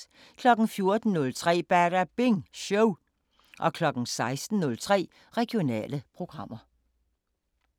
14:03: Badabing Show 16:03: Regionale programmer